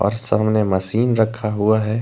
और सामने मशीन रखा हुआ है।